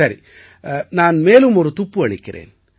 சரி நான் மேலும் ஒரு துப்பு அளிக்கிறேன்